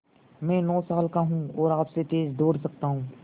मैं नौ साल का हूँ और आपसे तेज़ दौड़ सकता हूँ